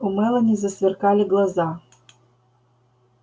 у мелани засверкали глаза